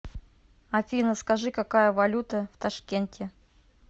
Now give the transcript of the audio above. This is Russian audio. афина скажи какая валюта в ташкенте